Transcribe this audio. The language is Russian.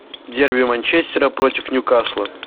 дерби манчестера против ньюкасла